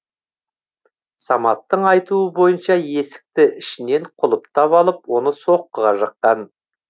саматтың айтуы бойынша есікті ішінен құлыптап алып оны соққыға жыққан